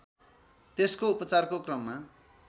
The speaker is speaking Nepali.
त्यसको उपचारको क्रममा